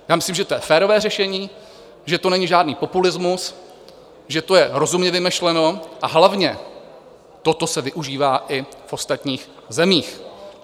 Já myslím, že to je férové řešení, že to není žádný populismus, že to je rozumně vymyšleno, a hlavně toto se využívá i v ostatních zemích.